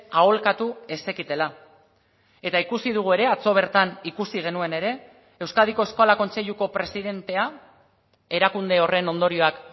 aholkatu ez zekitela eta ikusi dugu ere atzo bertan ikusi genuen ere euskadiko eskola kontseiluko presidentea erakunde horren ondorioak